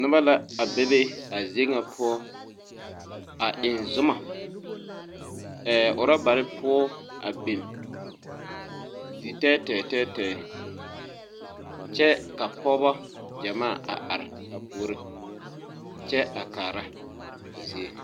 Noba la a bebe a zie ŋa poɔ a eŋ zuma yɛ rɔbarre poɔ a bin zi tɛɛtɛɛ tɛɛtɛɛ kyɛ ka pɔɔbɔ gyɛmaa a are a puore kyɛ a kaara a zie.